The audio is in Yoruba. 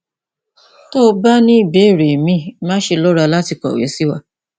tó o bá ní ìbéèrè míì máṣe lọra láti kọwé sí wa